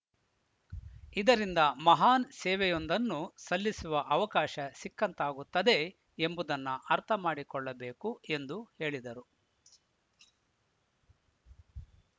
ಇದರಿಂದ ಮಹಾನ್‌ ಸೇವೆಯೊಂದನ್ನು ಸಲ್ಲಿಸುವ ಅವಕಾಶ ಸಿಕ್ಕಂತಾಗುತ್ತದೆ ಎಂಬುದನ್ನ ಅರ್ಥಮಾಡಿಕೊಳ್ಳಬೇಕು ಎಂದು ಹೇಳಿದರು